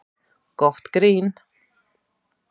Gott grín